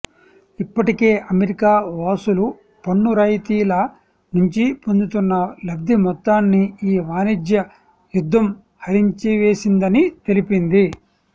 ఇప్పటికే అమెరికా వాసులు పన్ను రాయితీల నుంచి పొందుతున్న లబ్ధిమొత్తాన్ని ఈ వాణిజ్య యుద్ధం హరించివేసిందని తెలిపింది